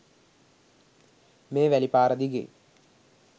මේ වැලි පාර දිගේ.